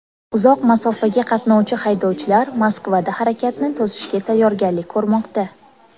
Uzoq masofaga qatnovchi haydovchilar Moskvada harakatni to‘sishga tayyorgarlik ko‘rmoqda.